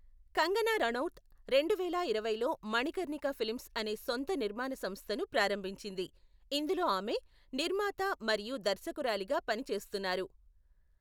కంగనా రనౌత్ రెండువేల ఇరవైలో మణికర్ణిక ఫిల్మ్స్ అనే సొంత నిర్మాణ సంస్థను ప్రారంభించింది, ఇందులో ఆమె నిర్మాత మరియు దర్శకురాలిగా పని చేస్తున్నారు.